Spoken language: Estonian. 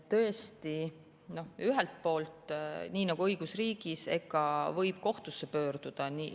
Tõesti, ühelt poolt, nii nagu õigusriigis ikka, võib kohtusse pöörduda.